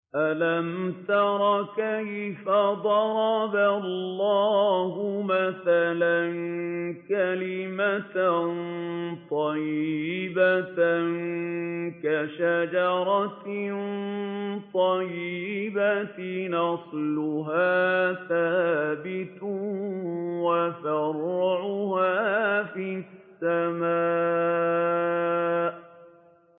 أَلَمْ تَرَ كَيْفَ ضَرَبَ اللَّهُ مَثَلًا كَلِمَةً طَيِّبَةً كَشَجَرَةٍ طَيِّبَةٍ أَصْلُهَا ثَابِتٌ وَفَرْعُهَا فِي السَّمَاءِ